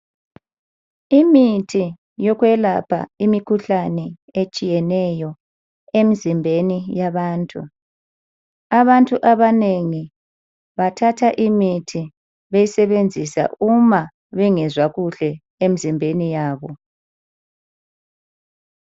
Imithi yokwelapha imikhuhlane etshiyeneyo emzimbeni yabantu. Abantu abanengi bathatha imithi beyisebenzisa uma bengezwa kuhle emzimbeni yabo.